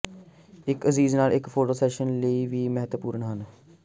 ਇੱਕ ਅਜ਼ੀਜ਼ ਨਾਲ ਇੱਕ ਫੋਟੋ ਸੈਸ਼ਨ ਲਈ ਵੀ ਮਹੱਤਵਪੂਰਨ ਹਨ